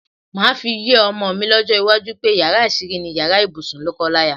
Màá fi yé o̩mo̩ mi ló̩jó̩ iwájú pé yàrá às̩írí ni yàrá ibùsùn ló̩ko̩láya.